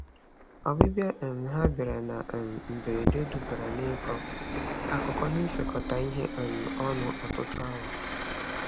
Ọbịbịa um ha bịara na um mberede dubara n'ịkọ akụkọ na isekọta ihe um ọnụ ọtụtụ awa.